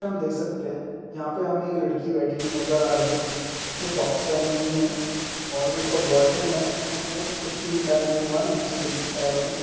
हम देख सकते हैं यहाँ पर हमें एक लड़की बैठी हुई नजर आ रही है जिसने सॉक्स पहनी हुई है और जो उसका बॉयफ्रेंड है उसने कुछ भी नी पहना नहीं हुआ है नीचे जमीन पैरों में--